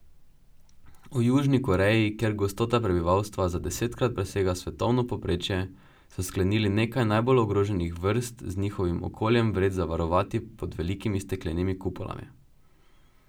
V Južni Koreji, kjer gostota prebivalstva za desetkrat presega svetovno povprečje, so sklenili nekaj najbolj ogroženih vrst z njihovim okoljem vred zavarovati pod velikimi steklenimi kupolami.